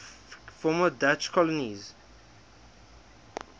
former dutch colonies